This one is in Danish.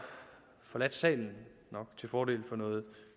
forladt salen nok til fordel for noget